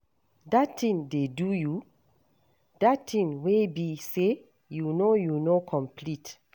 Dat thing dey do you? Dat thing wey be say, you know you no complete.